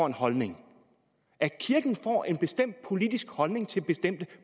en holdning at kirken får en bestemt politisk holdning til bestemte